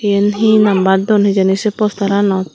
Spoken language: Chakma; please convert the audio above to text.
eyen hinnabar duon hi hijeni sei postaranot.